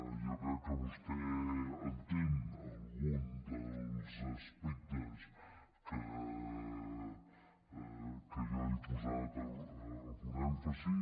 jo crec que vostè entén algun dels aspectes que jo hi he posat algun èmfasi